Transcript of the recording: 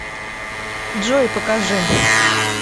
джой покажи